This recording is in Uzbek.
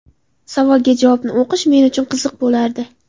Savolga javobni o‘qish men uchun qiziq bo‘lardi.